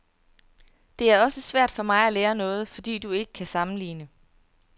Det er også svært for mig at lære noget, fordi du ikke kan sammenligne.